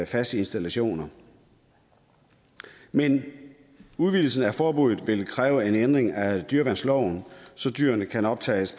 faste installationer men udvidelsen af forbuddet vil kræve en ændring af dyreværnsloven så dyrene kan optages